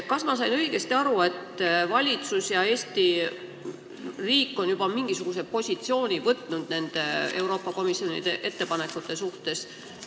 Kas ma sain õigesti aru, et valitsus ja Eesti riik on juba võtnud mingisuguse positsiooni nende Euroopa Komisjoni ettepanekute suhtes?